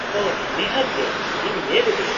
-ᱳᱦᱚ, ᱱᱤᱦᱟᱹᱛ ᱜᱮ, ᱤᱧ ᱧᱮᱞ ᱤᱫᱟᱹᱧ ᱾